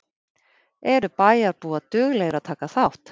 Eru bæjarbúar duglegir að taka þátt?